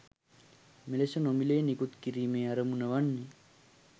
මෙලෙස නොමිලයේ නිකුත් කිරීමේ අරමුණ වන්නේ